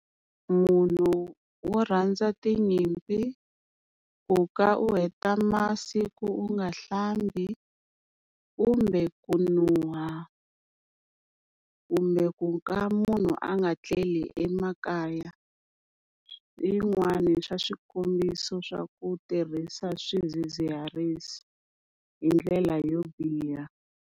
Munhu wo rhandza tinyimpi, ku ka u heta masiku u nga hlambi, kumbe ku nuha, kumbe ku ka munhu a nga tleli emakaya. Hi yin'wani swa swikombiso swa ku tirhisa swidzidziharisi hi ndlela yo biha.